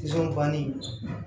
banni